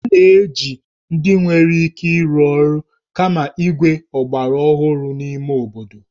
A na-eji ndị nwere ike ịrụ ọrụ kama igwe ọgbaraọhụrụ n'ime obodo